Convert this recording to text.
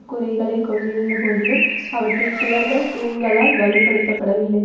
கூரைகளை கொண்டிருந்த போதிலும் அவற்றின் சுவர்கள் தூண்களால் வலுப்படுத்தப்படவில்லை